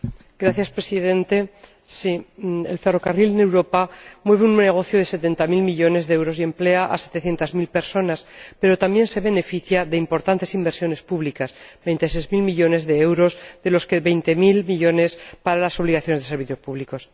Señor Presidente, el ferrocarril en Europa mueve un negocio de 70000 millones de euros y emplea a 700000 personas, pero también se beneficia de importantes inversiones públicas, 26000 millones de euros, de los que 20000 millones se destinan a las obligaciones de servicios públicos.